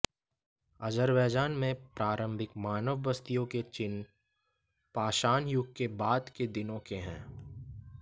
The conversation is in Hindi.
अज़रबैजान में प्रारंभिक मानव बस्तियों के चिह्न पाषाण युग के बाद के दिनों के हैं